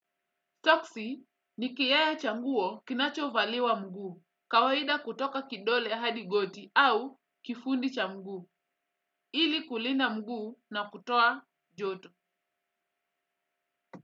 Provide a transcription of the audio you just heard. Toksi ni kiyaya cha nguo kinacho valiwa mguu, kawaida kutoka kidole hadi goti au kifundi cha mguu, ili kulinda mguu na kutoa joto.